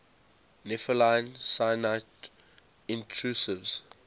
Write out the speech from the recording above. nepheline syenite intrusives